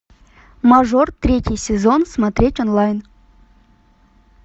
мажор третий сезон смотреть онлайн